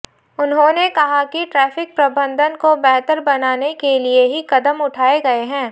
उन्होंने कहा कि ट्रैफिक प्रबंधन को बेहतर बनाने के लिए ही कदम उठाए गए हैं